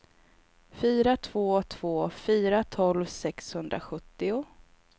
fyra två två fyra tolv sexhundrasjuttio